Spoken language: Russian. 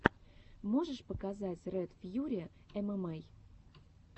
можешь показать ред фьюри эмэмэй